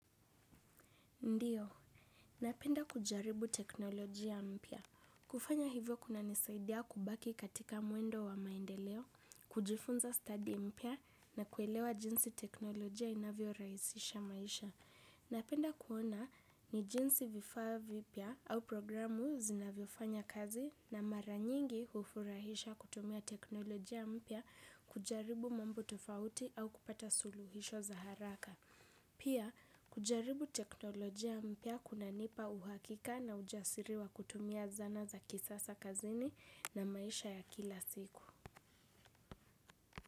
Ndiyo, napenda kujaribu teknolojia mpya. Kufanya hivyo kuna nisaidia kubaki katika mwendo wa maendeleo, kujifunza stadi mpya na kuelewa jinsi teknolojia inavyo rahisisha maisha. Napenda kuona ni jinsi vifaa vipya au programu zinavyo fanya kazi na mara nyingi hufurahisha kutumia teknolojia mpya kujaribu mambo tofauti au kupata suluhisho za haraka. Pia kujaribu teknolojia mpya kuna nipa uhakika na ujasiri wa kutumia zana za kisasa kazini na maisha ya kila siku.